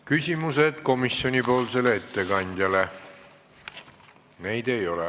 Küsimusi komisjoni ettekandjale ei ole.